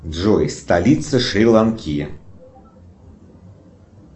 джой столица шри ланки